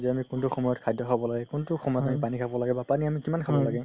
যে আমি কুন্তু সময়ত খাদ্য খাব লাগে কুন্তু সময়ত পানি খাব লাগে বা পানি আমি কিমান খাব লাগে